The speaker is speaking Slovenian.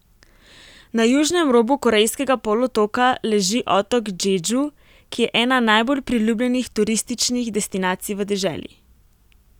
Na južnem robu Korejskega polotoka leži otok Džedžu, ki je ena najbolj priljubljenih turističnih destinacij v deželi.